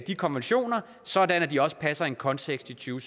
de konventioner sådan at de også passer ind i konteksten